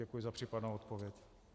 Děkuji za případnou odpověď.